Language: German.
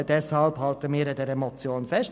Deshalb halten wir an der Motion fest.